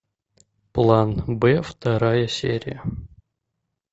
план б вторая серия